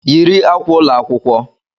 Yiri akwa ụlọ akwụkwọ!